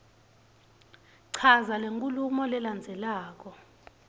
chaza lenkhulumo lelandzelako